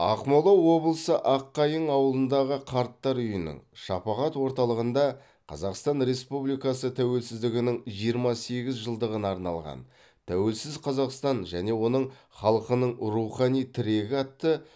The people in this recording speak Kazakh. ақмола облысы аққайың ауылындағы қарттар үйінің шапағат орталығында қазақстан республикасы тәуелсіздігінің жиырма сегіз жылдығына арналған тәуелсіз қазақстан және оның халқының рухани тірегі атты